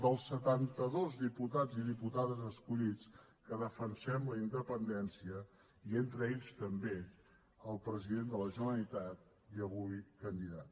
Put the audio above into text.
dels setantados diputats i diputades escollits que defensem la independència i entre ells també el president de la generalitat i avui candidat